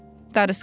darısqaldı.